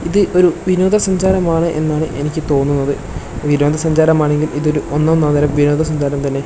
ഇത് ഒരു വിനോദ സഞ്ചാരം ആണ് എന്നാണ് എനിക്ക് തോന്നുന്നത് വിനോദ സഞ്ചാരം ആണെകിൽ ഇതൊരു ഒന്നൊന്നര വിനോദ സഞ്ചാരം തന്നെ.